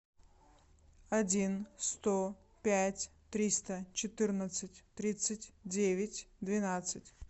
один сто пять триста четырнадцать тридцать девять двенадцать